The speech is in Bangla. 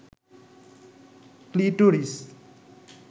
ক্লিটোরিস